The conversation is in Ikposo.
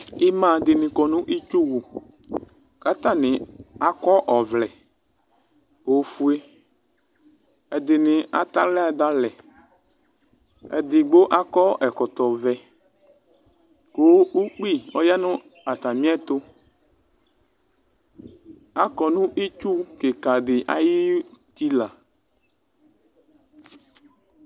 Ima dini kɔnʋ itsuwʋ kʋ atani akɔ ɔvlɛ ofue ɛdini atɛ aɣla dʋ alɛ kʋ akɔ ɛkɔtɔvɛ kʋ ʋkpi ɔyanʋ atami ɛtʋ akɔnʋ itsu kikadi ayʋ utila